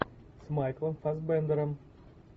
с майклом фассбендером